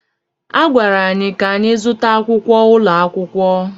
A gwara anyị ka anyị zụtakwu akwụkwọ ụlọ akwụkwọ